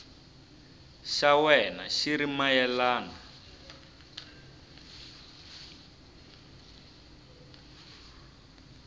xa wena xi ri mayelana